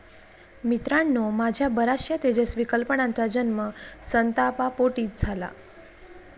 मित्रांनो, माझ्या बऱ्याचशा तेजस्वी कल्पनांचा जन्म संतापापोटीच झाला.